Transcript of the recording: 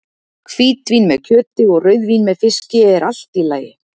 Hvítvín með kjöti og rauðvín með fiski er allt í lagi!